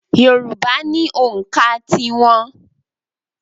Yorùbá ni ònkà tí wọn.